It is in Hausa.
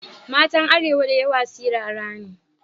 Matan arewa da yawa sirara ne.